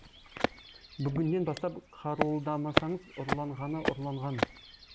бүгіннен бастап қаруылдамасаңыз ұрланғаны ұрланған